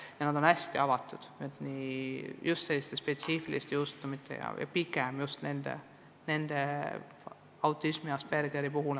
Ja nad on hästi avatud, kui tegu on spetsiifiliste juhtumitega, näiteks Aspergeri sündroomi ja muu autismiga, nagu näiteks oli toodud.